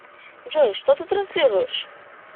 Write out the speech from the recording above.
джой что ты транслируешь